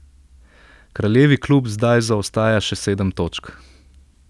Kraljevi klub zdaj zaostaja še sedem točk.